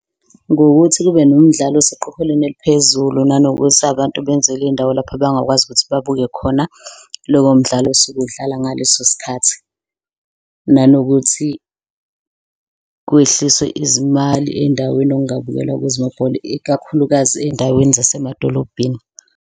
Ngokuthi kube nomdlalo eseqophelweni eliphezulu nanokuthi abantu benzelwe iy'ndawo lapho abangakwazi ukuthi babuke khona lowo mdlalo osuke udlala ngaleso sikhathi. Nanokuthi kwehliswe izimali ey'ndaweni ongabukela kuzo ibhola ikakhulukazi ey'ndaweni zasemadolobheni.